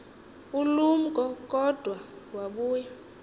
ulumko kodwa wabuya